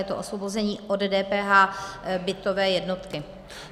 Je to osvobození od DPH - bytové jednotky.